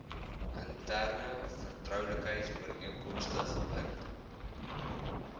interne vertroulikheidsooreenkomste gebind